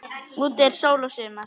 Úti er sól og sumar.